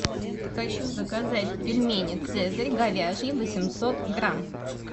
хочу заказать пельмени цезарь говяжьи восемьсот грамм